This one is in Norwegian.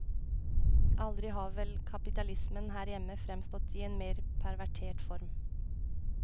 Aldri har vel kapitalismen her hjemme fremstått i en mer pervertert form.